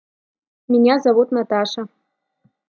меня зовут наташа